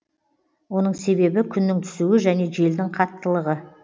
оның себебі күннің түсуі және желдің қаттылығы